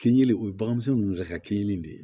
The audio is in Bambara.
Kin kelen o ye baganmisɛnnu ta kenin de ye